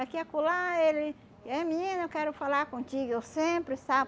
Aqui e acolá, ele... É, menina, eu quero falar contigo, eu sempre, sabe?